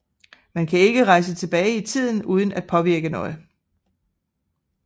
Man kan ikke rejse tilbage i tiden uden at påvirke noget